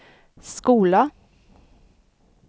skola